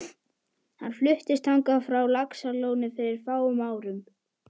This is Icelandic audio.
Hann fluttist þangað frá Laxalóni fyrir fáum árum.